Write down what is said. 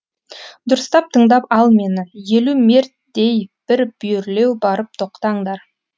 дұрыстап тыңдап ал мені елу мертдей бір бүйірлеу барып тоқтаңдар